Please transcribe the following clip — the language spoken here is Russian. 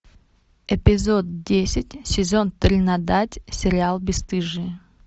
эпизод десять сезон тринадцать сериал бесстыжие